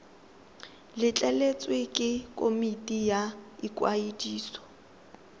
letleletswe ke komiti ya ikwadiso